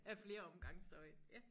Af flere omgange så øh ja